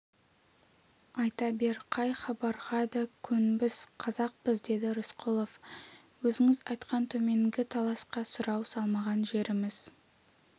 айта бер қай хабарға да көнбіс қазақпыз деді рысқұлов өзіңіз айтқан төменгі таласқа сұрау салмаған жеріміз